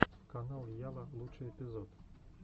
канал яла лучший эпизод